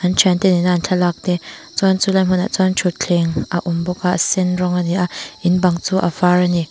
thian te nena an thlalak te chuan chu lai hmun ah chuan thuthleng a awm bawk a a sen rawng ani a in bang chu a var ani.